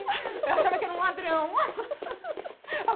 Eu achava que era um ladrão.